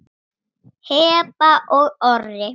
Heba og Orri.